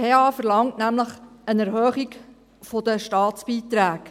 Die PH verlangt nämlich eine Erhöhung der Staatsbeiträge.